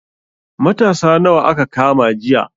Matasa nawa aka kama jiya?